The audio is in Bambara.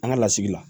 An ka lasigi la